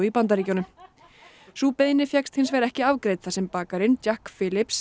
Bandaríkjunum sú beiðni fékkst ekki afgreidd þar sem bakarinn Jack